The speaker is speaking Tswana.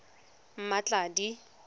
mmatladi